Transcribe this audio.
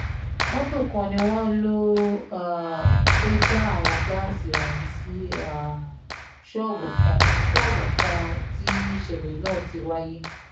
mọ́tò kan ni wọ́n lọ́ọ́ um fẹ́ẹ́ já àwọn gáàsì ọ̀hún sí um ṣọ́ọ̀bù kan ṣọ́ọ̀bù kan tí ìṣẹ̀lẹ̀ náà fi wáyé